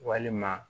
Walima